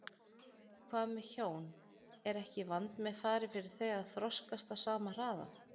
Hvað með hjón, er ekki vandmeðfarið fyrir þau að þroskast á sama hraða?